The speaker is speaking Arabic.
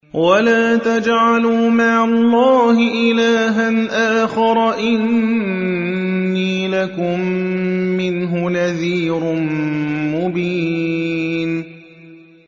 وَلَا تَجْعَلُوا مَعَ اللَّهِ إِلَٰهًا آخَرَ ۖ إِنِّي لَكُم مِّنْهُ نَذِيرٌ مُّبِينٌ